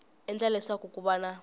endla leswaku ku va na